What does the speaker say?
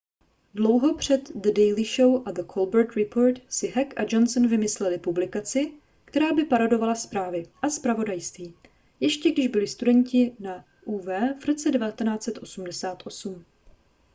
dlouho před the daily show a the colbert report si heck a johnson vymysleli publikaci která by parodovala zprávy a zpravodajství - ještě když byli studenti na uw v roce 1988